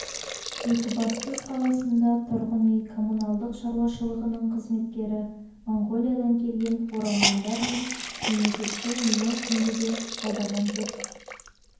екібастұз қаласында тұрғын үй коммуналдық шаруашылығының қызметкері монғолиядан келген оралмандар мен мемлекетті миллион теңгеде алдаған деп